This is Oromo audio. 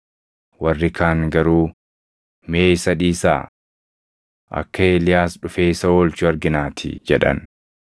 Warri kaan garuu, “Mee isa dhiisaa. Akka Eeliyaas dhufee isa oolchu arginaatii” jedhan.